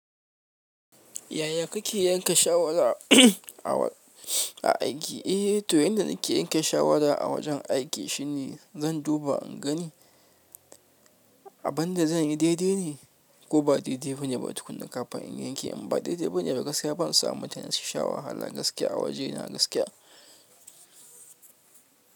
Yaya kake yanka shawara a aiki? Eh, to yanda nake yanka shawara a wajen aiki shine zan duba in gani abin da zan yi daidai ne ko ba daidai bane. Ba tukuna kafin in yanke, in ba daidai bane. Da gaskiya ban sa mutane su sha wahala shawara gaskiya a wajena gaskiya.